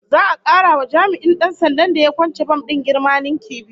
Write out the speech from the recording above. Za'a kara wa jami'in Dan sandan da ya kwance bam din girma ninki biyu